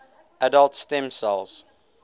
adult stem cells